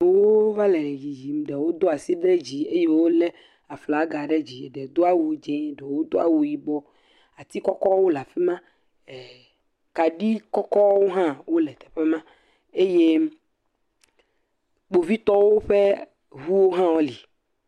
wo va le yiyim ɖe wo do asi ɖe dzi eye wo le aflaga ɖe dzi ɖe wo do awu dzɛ ɖe wo do awu yibɔ ati kɔkɔ wo le afima e kani kɔkɔ wo hã le teƒe ma eye kpovitowo ƒe wu hã wo le